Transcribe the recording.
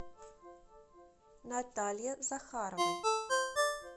наталье захаровой